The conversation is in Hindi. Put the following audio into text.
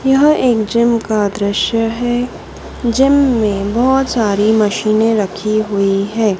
यह एक जिम का दृश्य हैं जिम में बहोत सारी मशीनें रखीं हुई हैं।